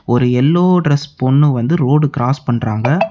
ஒரு yellow dress பொண்ணு வந்து ரோடு கிராஸ் பண்றாங்க.